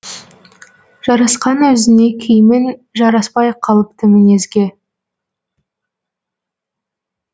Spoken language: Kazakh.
жарасқан өзіңе киімің жараспай қалыпты мінезге